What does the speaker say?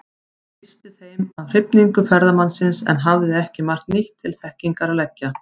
Hann lýsti þeim af hrifningu ferðamannsins, en hafði ekki margt nýtt til þekkingar að leggja.